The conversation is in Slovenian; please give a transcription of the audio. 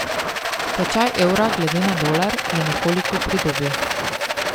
Tečaj evra glede na dolar je nekoliko pridobil.